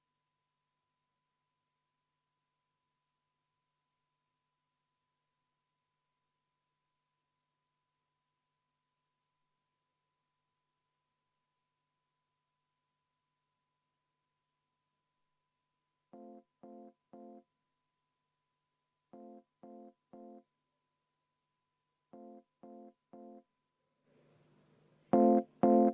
Muudatusettepanekut toetas 48 saadikut, vastu on 1 saadik, erapooletu samuti üks saadik.